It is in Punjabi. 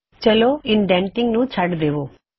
ਚਲੋ ਇਸ ਵੇਲੇ ਇਨਡੈੰਨਟਿੰਗ ਨੂੰ ਛੋੜ ਦੇਵੋ